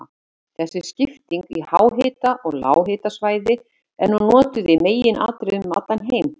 Þessi skipting í háhita- og lághitasvæði er nú notuð í meginatriðum um allan heim.